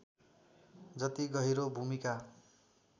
जति गहिरो भूमिका